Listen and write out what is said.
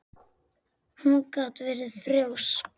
Hún gat verið þrjósk.